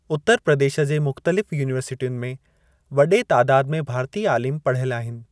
उत्तर प्रदेश जे मुख़्तलिफ़ु युनिवरसिटियुनि में वडे॒ तादाद में भारतीय आलिम पढ़ियल आहिनि।